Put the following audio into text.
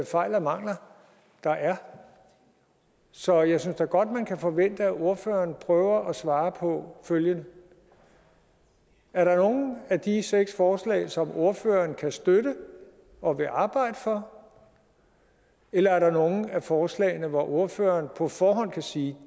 fejl og mangler der er så jeg synes da godt man kan forvente at ordføreren prøver at svare på følgende er der nogen af de seks forslag som ordføreren kan støtte og vil arbejde for eller er der nogen af forslagene hvor ordføreren på forhånd kan sige